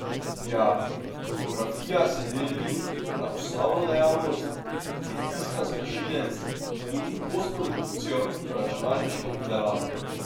Ja, fotografija se deli na osnovno dejavnost, pritisk na sprožilec, in postprodukcijo, računalniško obdelavo.